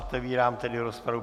Otevírám tedy rozpravu.